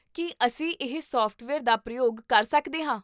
ਕੀ ਅਸੀਂ ਇਹ ਸੋਫਟਵੇਅਰ ਦਾ ਪ੍ਰਯੋਗ ਕਰ ਸਕਦੇ ਹਾਂ?